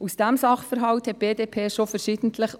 Auf diesen Sachverhalt wies die BDP schon verschiedentlich